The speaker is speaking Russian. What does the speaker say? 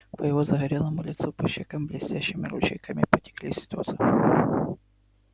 по его загорелому лицу по щекам блестящими ручейками потекли слёзы